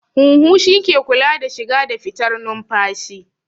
Huhu shi ke kula da shiga da fitar numfashi